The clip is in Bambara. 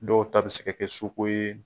Dɔw ta bɛ se ka kɛ su ko ye.